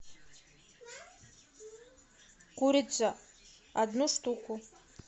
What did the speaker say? курица одну штуку